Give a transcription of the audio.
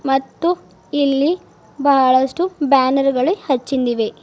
ಮತ್ತು ಇಲ್ಲಿ ಬಹಳಷ್ಟು ಬ್ಯಾನರ ಗಳು ಹಚ್ಚಿಂದಇವೆ.